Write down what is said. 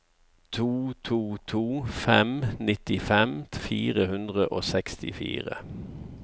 to to to fem nittifem fire hundre og sekstifire